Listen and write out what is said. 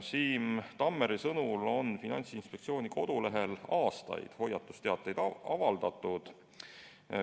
Siim Tammeri sõnul on Finantsinspektsiooni kodulehel aastaid hoiatusteateid avaldatud.